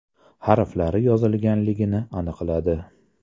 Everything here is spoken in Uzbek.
harflari yozilganligini aniqladi.